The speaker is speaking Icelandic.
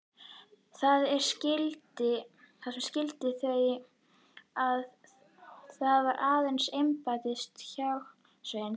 Það sem skildi þau að var aðeins embættisframi hjarðsveinsins.